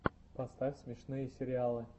поставь смешные сериалы